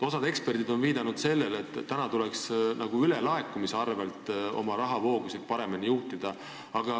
Osa eksperte on viidanud, et ülelaekumise arvel tuleks praegu oma rahavoogusid paremini juhtida.